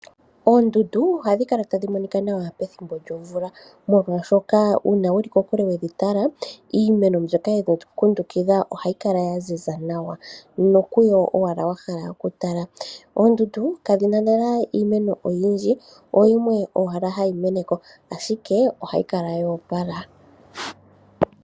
Oondundu ohadhi kala tadhi Monika nawa pethimbo lyomvula molwaashoka uuna wuli kokule we dhi tala iimeno mbyoka yakundukidha oondundu ohayi kala ya ziza nawa nokudho owala ho kala wahala okutala. Oondundu kadhina lela iimeno oyindji oyimwe owala hayi meneko.